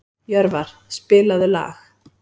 Jörvar, spilaðu lag.